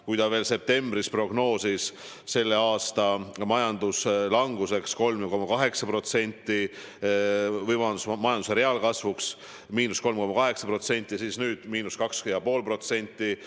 Kui ta veel septembris prognoosis selle aasta majanduslanguseks 3,8% või, vabandust, majanduse reaalkasvuks miinus 3,8%, siis nüüd miinus 2,5%.